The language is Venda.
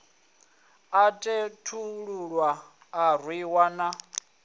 a khethululwa a rwiwa na